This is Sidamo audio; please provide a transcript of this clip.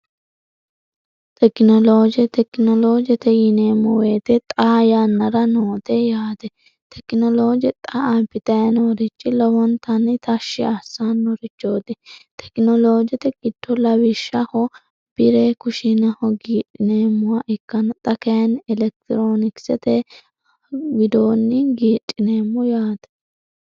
tekinolooje tekinoloojete yineemmo weyite xa yannara noote yaate tekinolooje xa apixenoorichi lowontanni tashshi assaannorichooti tekinoloojete gitto lawishshaho bire kushinaho giidhineemmowa ikkan xakeni elektiroonikisete widoonni giicineemmo yaate